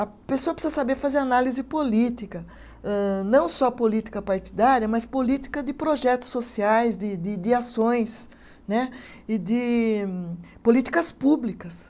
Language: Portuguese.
A pessoa precisa saber fazer análise política, âh não só política partidária, mas política de projetos sociais, de de de ações né, e de políticas públicas.